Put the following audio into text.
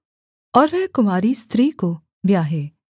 और वह कुँवारी स्त्री को ब्याहे